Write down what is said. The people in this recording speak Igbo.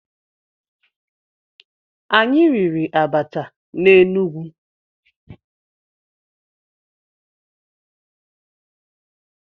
Anyị riri abacha na Enugu.